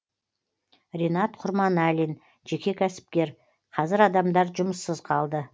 ринат құрманәлин жеке кәсіпкер қазір адамдар жұмыссыз қалды